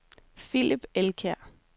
Philip Elkjær